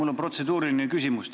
Mul on protseduuriline küsimus.